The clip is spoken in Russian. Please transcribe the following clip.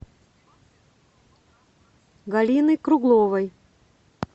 галины кругловой